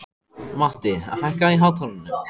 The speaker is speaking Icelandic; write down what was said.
Matti, hækkaðu í hátalaranum.